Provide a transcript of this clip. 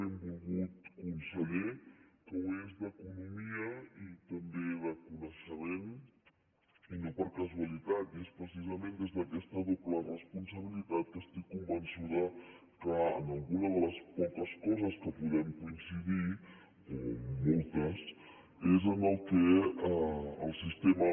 benvolgut conseller que ho és d’economia i també de coneixement i no per casualitat i és precisament des d’aquesta doble responsabilitat que estic convençuda que en alguna de les poques coses que podem coincidir o en moltes és en allò que el sistema